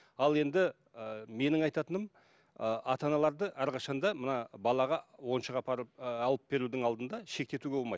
ал енді ыыы менің айтатыным ы ата аналарды әрқашан да мына балаға ойыншық апарып ыыы алып берудің алдында шектетуге болмайды